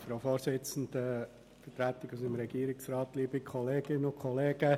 Zuerst spricht Grossrat Haas für die FDP-Fraktion.